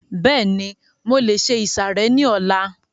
Bẹ́ẹ̀ni, mo lè se ìsàrẹ́ ní ọlá